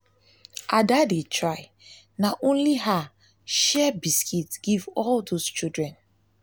ada dey try na only her share share biscuit give all those children